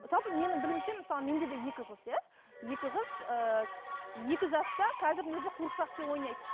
жалпы менің білуімше мысалы менде де екі қыз иә екі қыз ыыы екі жаста қазірдің өзінде қуыршақпен ойнайды